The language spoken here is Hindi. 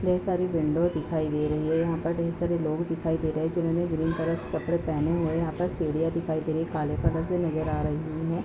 ढेर सारी विंडो दिखाई दे रही है। यहाँ पर ढेर सारे लोग दिखाई दे रहे हैं जिन्होंने ग्रीन कलर के कपडे पहने हुए हैं यहाँ पर सीढियाँ दिखाई दे रहीं हैं। काले कलर से नज़र आ रहीं हैं।